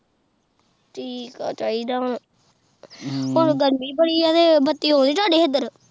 ਠੀਕ ਏ ਚਾਹੀਦਾ ਹਮ ਗਰਮੀ ਬੜੀ ਐ, ਬੱਤੀ ਆਉਂਦੀ ਤੁਹਾਡੇ ਹੇਦਰ?